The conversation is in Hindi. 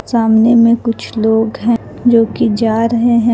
सामने में कुछ लोग है जो की जा रहे है।